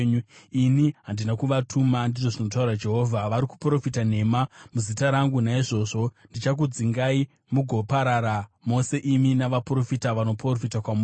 ‘Ini handina kuvatuma,’ ndizvo zvinotaura Jehovha. ‘Vari kuprofita nhema muzita rangu. Naizvozvo, ndichakudzingai, mugoparara mose imi navaprofita vanoprofita kwamuri.’ ”